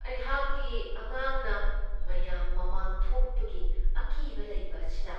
ꯑꯩꯍꯥꯛꯀꯤ ꯑꯉꯥꯡꯅ ꯃꯌꯥꯝ ꯃꯃꯥꯡ ꯊꯣꯛꯄꯒꯤ ꯑꯀꯤꯕ ꯂꯩꯕ ꯑꯁꯤꯅ